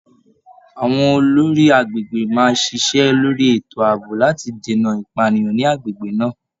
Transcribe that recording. Àwọn olórí agbègbè máa ṣiṣẹ́ lórí ètò ààbò láti dènà ìpànìyàn ni agbègbè náà.